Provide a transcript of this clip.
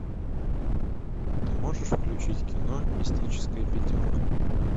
ты можешь включить кино мистическая пятерка